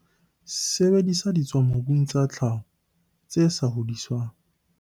Sebedisa ditswamobung tsa tlhaho, tse sa hodiswang.